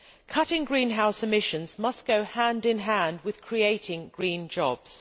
Cutting greenhouse emissions must go hand in hand with creating green jobs.